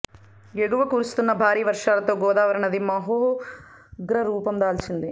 ఎగువన కురుస్తున్న భారీ వర్షాలతో గోదావరి నది మహోగ్రరూపం దాల్చింది